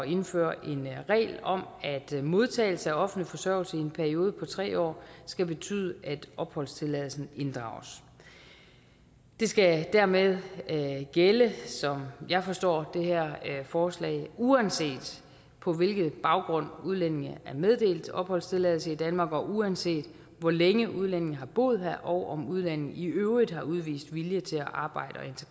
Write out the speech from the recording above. indføre en regel om at modtagelse af offentlig forsørgelse i en periode på tre år skal betyde at opholdstilladelsen inddrages det skal dermed gælde som jeg forstår det her forslag uanset på hvilken baggrund udlændingen er meddelt opholdstilladelse i danmark og uanset hvor længe udlændingen har boet her og om udlændingen i øvrigt har udvist vilje til at arbejde